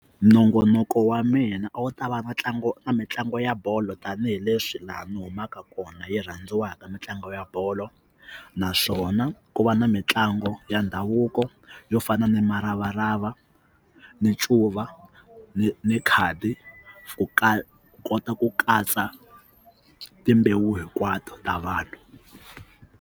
Nongonoko wa mina a wu ta va ntlangu na mitlangu ya bolo tanihileswi laha ni humaka kona yi rhandziwaka mitlangu ya bolo naswona ku va na mitlangu ya ndhavuko yo fana ni muravarava ni ncuva ni ni khadi ku kota ku katsa timbewu hinkwato ta vanhu.